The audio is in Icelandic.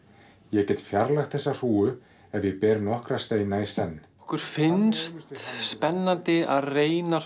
ég get fjarlægt þessa hrúgu ef ég ber nokkra steina í senn okkur finnst spennandi að reyna